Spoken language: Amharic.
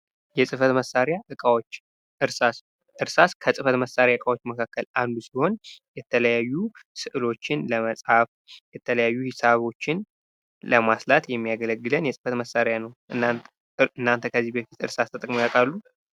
የፅፈት መሳርያ እቃዎች እርሳስ እርሳስ ከፅፈት መሳርያ እቃዎች መካከል አንዱ ሲሆን የተለያዩ ስዕሎችን ለመፃፍ የተለያዩ ሂሳቦችን ለማስላት የሚያገለግለን የፅህፈት መሳርያ ነው። እናንተ ከዚህ በፊት እርሳስ ተጠቅመው ያውቃሉ?